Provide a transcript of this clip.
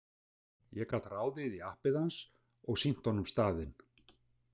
Ég gat ráðið í appið hans og sýnt honum staðinn.